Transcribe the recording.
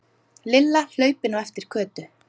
Lilla hlaupin á eftir Kötu.